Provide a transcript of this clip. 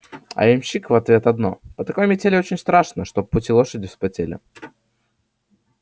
а ямщик в ответ одно по такой метели очень страшно чтоб в пути лошади вспотели